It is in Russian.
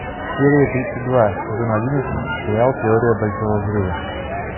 серия тридцать два сезон одиннадцать сериал теория большого взрыва